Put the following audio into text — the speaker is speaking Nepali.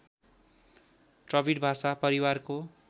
द्रविड भाषा परिवारको